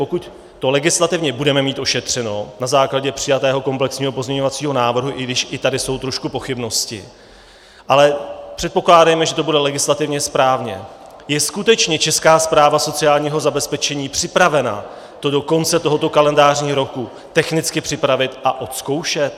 Pokud to legislativně budeme mít ošetřeno na základě přijatého komplexního pozměňovacího návrhu, i když i tady jsou trošku pochybnosti, ale předpokládejme, že to bude legislativně správně, je skutečně Česká správa sociálního zabezpečení připravena to do konce tohoto kalendářního roku technicky připravit a odzkoušet?